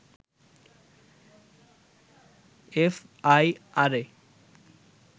এফআইআরে